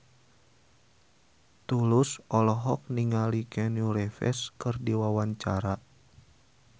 Tulus olohok ningali Keanu Reeves keur diwawancara